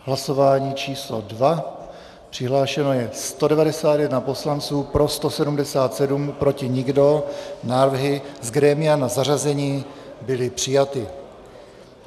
Hlasování číslo 2, přihlášeno je 191 poslanců, pro 177, proti nikdo, návrhy z grémia na zařazení byly přijaty.